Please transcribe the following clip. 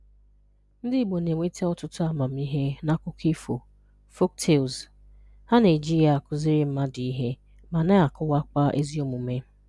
Ndị Igbo na-enweta ọtụtụ amamihe n'akụkọ ifo(folktales)!ha na-eji ya akụziri mmadụ ihe ma na-akọwakwa ezi omume